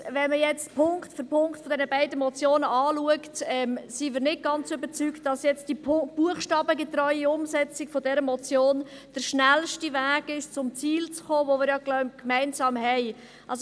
Andererseits: Wenn man jetzt Punkt für Punkt von diesen beiden Motionen anschaut, sind wir nicht ganz überzeugt, dass die buchstabengetreue Umsetzung dieser Motionen der schnellste Weg ist, um zum Ziel zu kommen, das wir – glaube ich – gemeinsam haben.